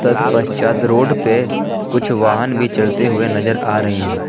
तत् पश्चात रोड पे कुछ वाहन भी चलते हुए नजर आ रही हैं।